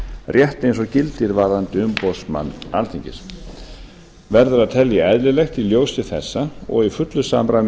rétt eins og gildir varðandi umboðsmann alþingis verður að telja eðlilegt í ljósi þessa og í fullu samræmi við